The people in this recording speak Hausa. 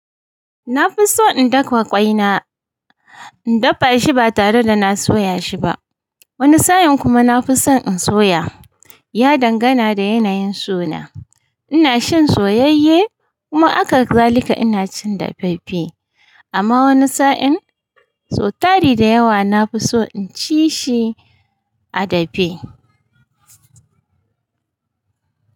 Na fi so in dafa ƙwai na, in dafa shi ba tare da na soya shi ba. Wani sa'in kuma na fi son in soya. Ya dangana da yanayin sona. Ina cin soyeyye kuma haka zalika ina cin dafaffafe amma woni sa'in, sotari da yawa na fi so in ci shi a dafe.